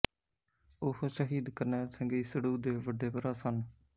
ਉਹ ਸ਼ਹੀਦ ਕਰਨੈਲ ਸਿੰਘ ਈਸੜੂ ਦੇ ਵੱਡੇ ਭਰਾ ਸਨ